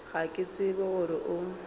ga ke tsebe gore o